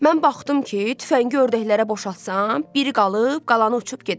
Mən baxdım ki, tüfəngi ördəklərə boşaltsam, biri qalıb, qalanı uçub gedəcək.